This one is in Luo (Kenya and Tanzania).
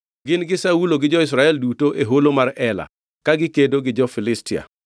Gin gi Saulo gi jo-Israel duto e holo mar Ela, ka gikedo gi jo-Filistia.”